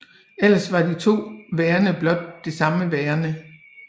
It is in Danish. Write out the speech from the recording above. Ellers var de to værender blot det samme værende